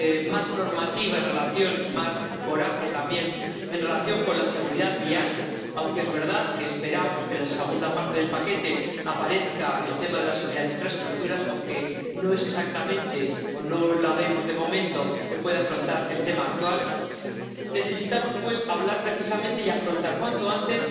más normativa —y más coraje también— en relación con la seguridad vial —aunque es verdad que esperamos que en la segunda parte del paquete aparezca el tema de la seguridad en las infraestructuras, aunque no es exactamente o no vemos, de momento, que pueda afrontar el problema actual—, necesitamos pues hablar precisamente y afrontar cuanto antes